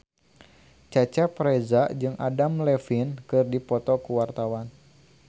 Cecep Reza jeung Adam Levine keur dipoto ku wartawan